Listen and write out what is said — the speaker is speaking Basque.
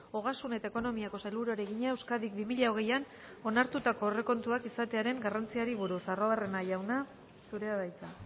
ogasun eta ekonomiako sailburuari egina euskadik bi mila hogeian onartutako aurrekontuak izatearen garrantziari buruz arruabarrena jauna zurea da hitza